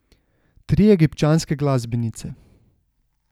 Tri egipčanske glasbenice.